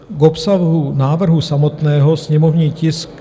K obsahu návrhu samotného, sněmovní tisk...